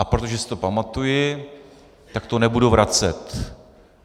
A protože si to pamatuji, tak to nebudu vracet.